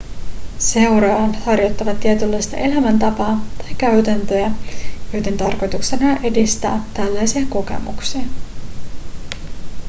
seuraajat harjoittavat tietynlaista elämäntapaa tai käytäntöjä joiden tarkoituksena on edistää tällaisia kokemuksia